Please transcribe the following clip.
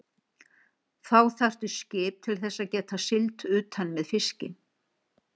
Þá þarftu skip til þess að geta siglt utan með fiskinn.